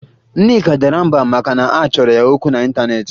Nneka dara mbà maka na a chọrọ ya okwu n'ịntaneetị